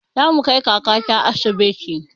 Zamu kai kakata asibiti